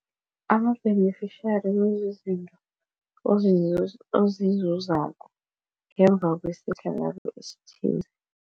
Ama-beneficiary kuzizinto ozizuzako ngemva kwesehlakalo esithize.